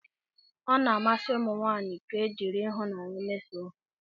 Ọ na-amasị ụmụ nwanyị ka e jiri ịhụnanya mesoo ha